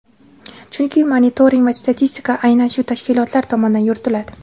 Chunki monitoring va statistika aynan shu tashkilotlar tomonidan yuritiladi.